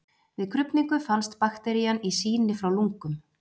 Við krufningu fannst bakterían í sýni frá lungum.